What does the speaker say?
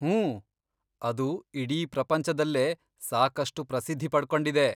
ಹೂಂ, ಅದು ಇಡೀ ಪ್ರಪಂಚದಲ್ಲೇ ಸಾಕಷ್ಟು ಪ್ರಸಿದ್ಧಿ ಪಡ್ಕೊಂಡಿದೆ.